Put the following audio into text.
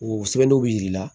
O sɛbɛnniw bɛ yir'i la